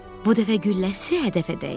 Bu dəfə gülləsi hədəfə dəydi.